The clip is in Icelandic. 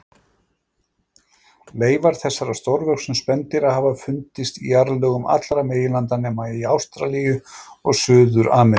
Leifar þessara stórvöxnu spendýra hafa fundist í jarðlögum allra meginlandanna nema í Ástralíu og Suður-Ameríku.